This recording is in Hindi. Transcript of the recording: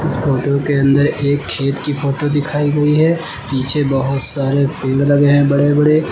फोटो के अंदर एक खेत की फोटो दिखाई गई है पीछे बहुत सारे पेड़ लगे हैं बड़े बड़े।